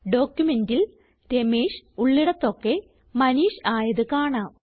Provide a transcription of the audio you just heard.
ഡോക്യുമെന്റിൽ രമേഷ് ഉള്ളിടതൊക്കെ മനീഷ് ആയത് കാണാം